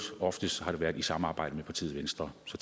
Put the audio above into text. oftest været i samarbejde med partiet venstre så